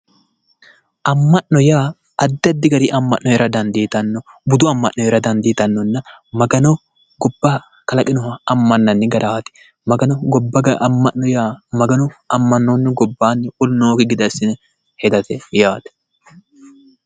amma'no yaa addi addi amma'na hee'ra dandiitanno budu amma'no hee'ra dandiitannonna magano gobba kalaqinoha amma'ninanni garaati ,magano amma'noonnihu gobbanni wolu nookkihu gede assi'ne hedate yaate